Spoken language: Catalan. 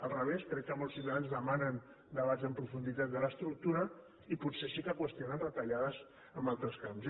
al revés crec que molts ciutadans demanen debats en profunditat de l’estructura i potser sí que qüestionen retallades en altres camps